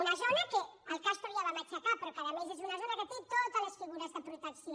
una zona que el castor ja va matxacar però que a més és una zona que té totes les figures de protecció